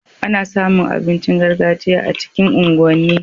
Ana samu abincin gargajiya a cikin unguwan ni